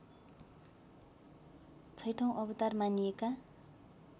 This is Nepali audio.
छैठौँ अवतार मानिएका